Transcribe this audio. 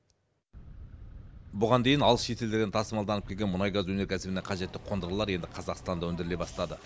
бұған дейін алыс шетелдерден тасымалданып келген мұнай газ өнеркәсібіне қажетті қондырғылар енді қазақстанда өндіріле бастады